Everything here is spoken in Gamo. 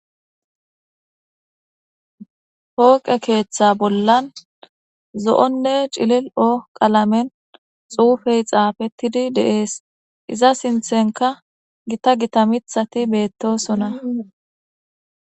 Pooqe keeththa bollan zo7onne cililo qalamen xuufey xaafettidi deees iza sinthenka gita gita mithati beettosona